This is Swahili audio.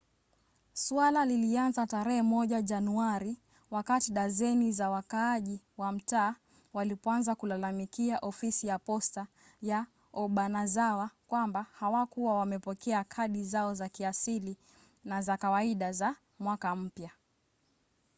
suala lilianza tarehe moja januari wakati dazeni za wakaaji wa mtaa walipoanza kulalamikia ofisi ya posta ya obanazawa kwamba hawakuwa wamepokea kadi zao za kiasili na za kawaida za mwaka mpya